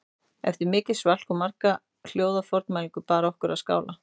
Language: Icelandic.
Eftir mikið svalk og marga hljóða formælingu bar okkur að skála